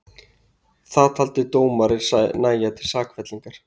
Það taldi dómarinn nægja til sakfellingar